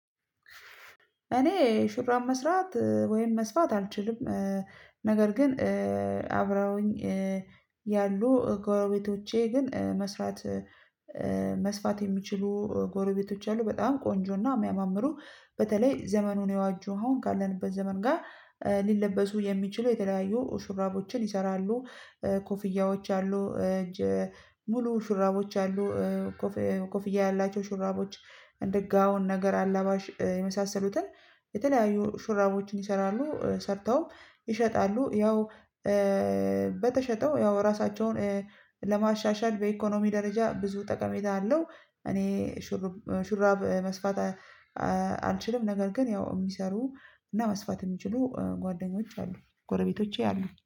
እኔ ሹራብ መስራት ወይም መስፋት አልችልም። ነገር ግን አብረውኝ ያሉ ጎረቤቶቼ ግን መስራት መስፋት የሚችሉ ጎረቤቶች አሉ። በጣም ቆንጆና የሚያማምሩ በተለይ ዘመኑን የዋጁ አሁን ካለንበት ዘመን ጋር ሊለበሱ የሚችሉ የተለያዩ ሹራቦችን ይሰራሉ። ኮፍያዎች አሉ። ሙሉ ሹራቦች አሉ። ኮፍያ ያላቸው ሹራቦች እንደ ጋውን ነገር አላባሽ የመሳሰሉትን የተለያዩ ሹራቦችን ይሰራሉ ሰርተው ይሸጣሉ። ያው በተሸጠው ያው ራሳቸውን ለማሻሻል በኢኮኖሚ ደረጃ ብዙ ጠቀሜታ አለው። እኔ ሹራብ መስፋት አልችልም። ነገር ግን ያው የሚሰሩ እና መስፋት የሚችሉ ጓደኞች አሉ ጎረቤቶች አሉ